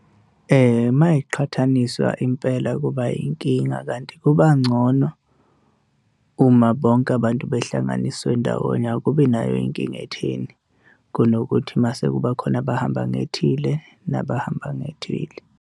Uma yiqhathaniswa impela kuba inkinga kanti kuba ngcono uma bonke abantu behlanganiswe ndawonye. Akubi nayo inkinga etheni, kunokuthi mase kuba khona abahamba ngethile nabahamba ngethile.